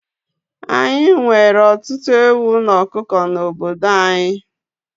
Ányi nwere ọtụtụ ewu na ọkụkọ n'obodo anyị